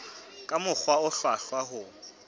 ka mokgwa o hlwahlwa ho